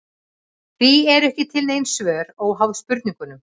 Því eru ekki til nein svör óháð spurningunum.